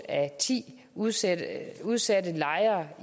af ti udsatte udsatte lejere